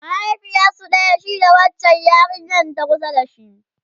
mahaifiyarsu ɗaya shi da wancan yarinyan ta kusa da shi?